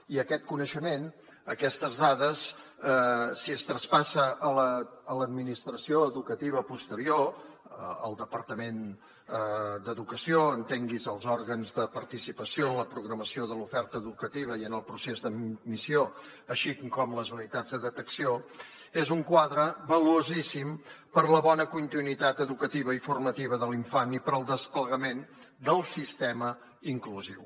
i aquest coneixement aquestes dades si es traspassa a l’administració educativa posterior al departament d’educació entengui’s els òrgans de participació en la programació de l’oferta educativa i en el procés d’admissió així com les unitats de detecció és un quadre valuosíssim per a la bona continuïtat educativa i formativa de l’infant i per al desplegament del sistema inclusiu